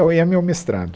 E é meu mestrado.